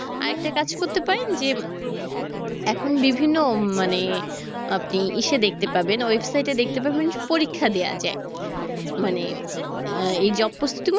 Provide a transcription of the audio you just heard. আরেকটা কাজ করতে পারেন যে এখন বিভিন্ন উম মানে আপনি ইসে দেখতে পাবেন website এ দেখতে পাবেন পরীক্ষা দেয়া যায় মানে আহ এই job প্রস্তুতি গুলো